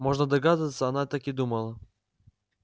можно догадываться она так и думала